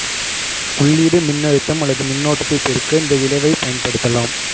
உள்ளீடு மின்னழுத்தம் அல்லது மின்னோட்டத்தைப் பெருக்க இந்த விளைவைப் பயன்படுத்தலாம்